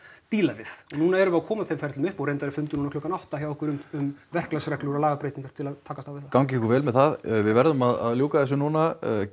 díla við núna erum við að koma þeim ferlum upp og reyndar er fundur núna klukkan átta hjá okkur um verklagsreglur og lagabreytingar til að takast á við gangi ykkur vel með það við verðum að ljúka þessu núna